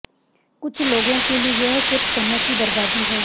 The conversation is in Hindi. कुछ लोगों के लिए यह सिर्फ समय की बर्बादी है